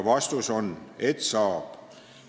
Vastus on, et saab.